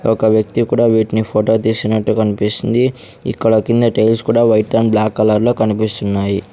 ఒక వ్యక్తి కూడా వీటిని ఫోటో తీస్తునట్టు కన్పిస్తుంది ఇక్కడ కింద టైల్స్ కూడా వైట్ అండ్ బ్లాక్ కలర్లో కనిపిస్తున్నాయి.